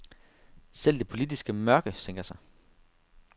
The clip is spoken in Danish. Selv det politiske mørke sænker sig.